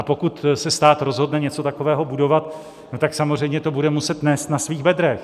A pokud se stát rozhodne něco takového budovat, tak samozřejmě to bude muset nést na svých bedrech.